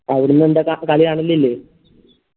അവിടന്ന് എന്താ കളി കാണലില്ലേ